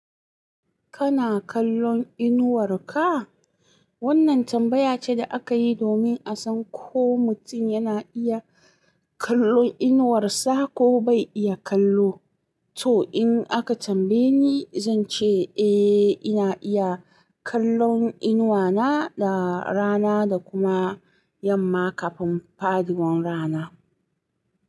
Kana kallon inuwar ka? Wannan tambaya ce da aka yi domin a san ko mutum yana iya kallon inuwarsa ko bai iya kallo. To, in aka tambaye ni, zan ce eh, ina iya kallon inuwa na da rana da kuma yamma kafin faɗuwar rana.